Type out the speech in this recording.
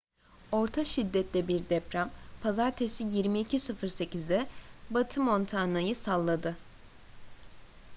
orta şiddette bir deprem pazartesi 22:08'de batı montana'yı salladı